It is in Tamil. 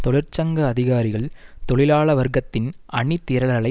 தொழிற்சங்க அதிகாரிகள் தொழிலாளவர்க்கத்தின் அணிதிரளலை